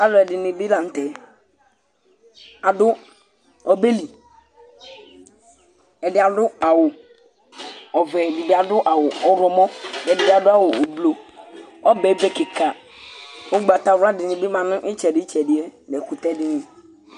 Alʋɛdìní bi la ntɛ Adu ɔbɛli Ɛdí adu awu ɔvɛ Ɛdí bi adu awu ɔwlɔmɔ kʋ ɛdí bi adu awu ʋblu Ɔbɛ yɛ ebe kìka Ugbatawla dìní bi ma nʋ itsɛdi yɛ nu ɛkʋtɛ dìní